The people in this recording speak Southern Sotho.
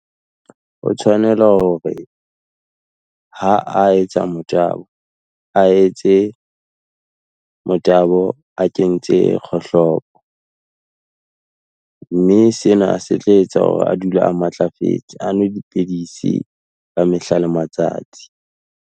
O tshwanela hore, ha a etsa motabo, a etse motabo a kentse kgohlopo, mme sena se tla etsa hore a dule a matlafetse, anwe dipidisi ka mehla le matsatsi.